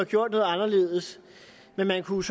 gjort noget anderledes men jeg kunne